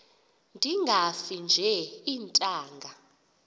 ndingafi nje iintanga